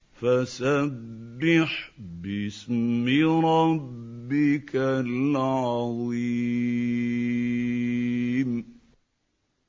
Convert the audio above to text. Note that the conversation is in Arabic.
فَسَبِّحْ بِاسْمِ رَبِّكَ الْعَظِيمِ